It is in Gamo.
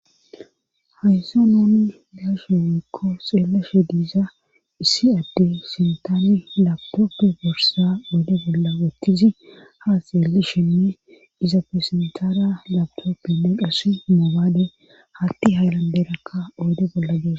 Haysan nuni be7ishe woykko xeellishe diza issi adey sintani laptope borssa oyde bolla wottizi haa xeellishenne izappe sintara laptopenne qassi moobale haatti haylanderakka oyde bolla diza.